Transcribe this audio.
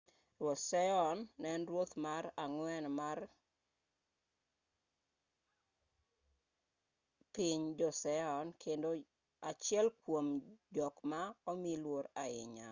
ruoth sejong ne en ruoth mar ang'wen mar piny joseon kendo achiel kuom jok ma omi luor ahinya